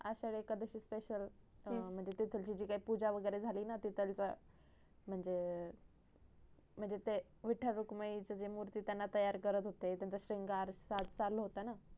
Ashadhi Ekadashi special तेथील जे पुजा वगरे झाली ना म्हणजे म्हणजे ते विठ्ठल रुकमाई च जे मूर्त त्यांना तयार करत होते त्यांचा शिंगार साद चालू होता ना